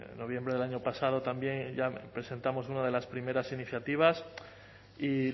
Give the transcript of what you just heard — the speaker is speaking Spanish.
noviembre del año pasado también ya presentamos una de las primeras iniciativas y